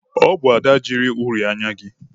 Ọ bụ Ada ji uri anya gị.